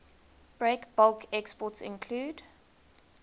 breakbulk exports include